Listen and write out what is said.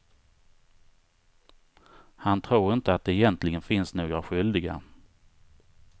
Han tror inte att det egentligen finns några skyldiga.